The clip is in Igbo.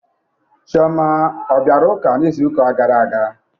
Chioma ọ bịara ụka n'izuka gara aga?